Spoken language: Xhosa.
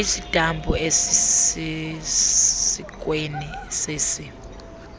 istampu esisesikweni sesi